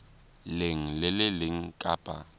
leng le le leng kapa